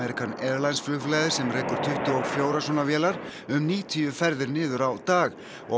Airlines sem rekur tuttugu og fjögur svona vélar um níutíu ferðir niður á dag og